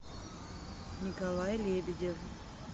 николай лебедев